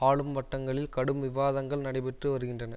ஆளும் வட்டங்களில் கடும் விவாதங்கள் நடைபெற்று வருகின்றன